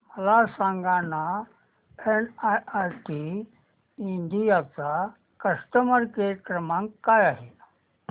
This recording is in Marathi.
मला सांगाना एनआयआयटी इंडिया चा कस्टमर केअर क्रमांक काय आहे